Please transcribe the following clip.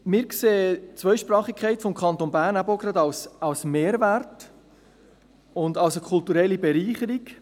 Wir sehen die Zweisprachigkeit des Kantons Bern als Mehrwert und als eine kulturelle Bereicherung.